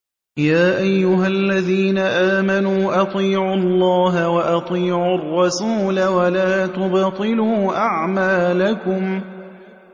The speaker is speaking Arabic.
۞ يَا أَيُّهَا الَّذِينَ آمَنُوا أَطِيعُوا اللَّهَ وَأَطِيعُوا الرَّسُولَ وَلَا تُبْطِلُوا أَعْمَالَكُمْ